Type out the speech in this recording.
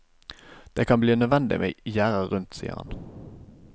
Det kan bli nødvendig med gjerde rundt, sier han.